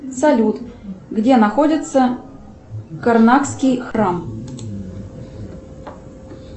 салют где находится карнакский храм